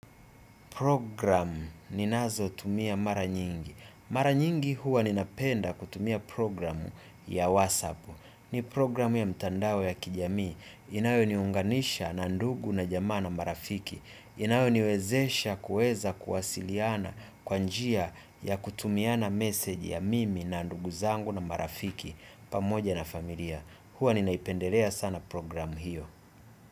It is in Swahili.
Programu ninazotumia mara nyingi. Mara nyingi huwa ninapenda kutumia programu ya WhatsApp. Ni programu ya mtandawe ya kijami. Inayoniunganisha na ndugu na jamaa na marafiki. Inayoniwezesha kuweza kuwasiliana kwa njia ya kutumiana message ya mimi na ndugu zangu na marafiki pamoja na familia. Huwa ninaipendelea sana programu hiyo.